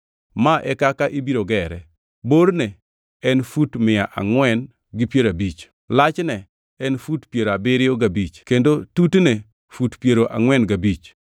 Ma e kaka ibiro gere: Borne en fut mia angʼwen gi piero abich, lachne en fut piero abiriyo gabich kendo tutne fut piero angʼwen gabich.